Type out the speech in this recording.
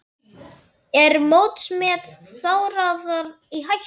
Er mótsmet Þórðar í hættu?